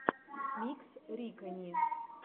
микс рикани